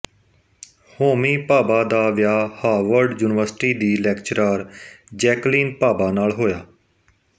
homie Bhabha ਦਾ ਵਿਆਹ Harvard university ਦੀ ਲੈਕਚਰਾਰ ਜੈਕਲੀਨ ਭਾਬਾ ਨਾਲ ਹੋਇਆ